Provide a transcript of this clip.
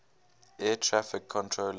air traffic controllers